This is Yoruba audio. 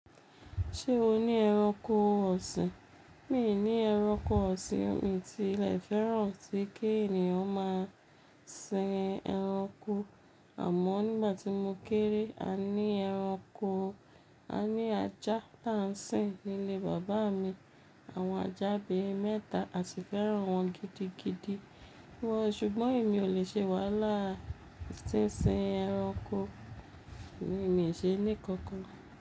Ṣé o ní ẹranko ọ̀sìn? Mi ò ní ẹranko ọ̀sìn, mi ti lè fẹ́ràn sí kí ènìyàn máa sin ẹranko. Àmọ́ nígbà tí mo kéré, a ní ẹranko, a ní ajá tá ń sìn nílé bàbá mi. Àwọn ajá bíi mẹ́ta, a sì fẹ́ràn wọn gidigidi púpọ̀. Ṣùgbọ́n èmi ò lè ṣe wàhálà sí sin ẹranko, mi ò ṣe é ní kankan.